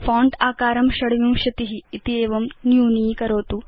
font आकारं २६ इत्येवं न्यूनीकरोतु